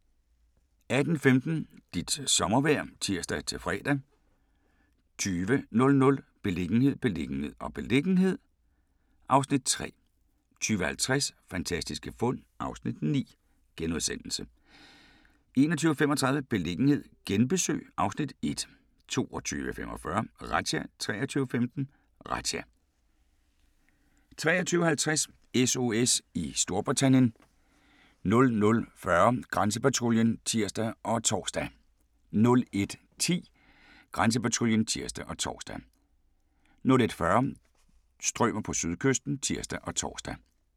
18:15: Dit sommervejr (tir-fre) 20:00: Beliggenhed, beliggenhed, beliggenhed (Afs. 3) 20:50: Fantastiske fund (Afs. 9)* 21:35: Beliggenhed genbesøg (Afs. 1) 22:45: Razzia 23:15: Razzia 23:50: SOS i Storbritannien 00:40: Grænsepatruljen (tir og tor) 01:10: Grænsepatruljen (tir og tor) 01:40: Strømer på sydkysten (tir og tor)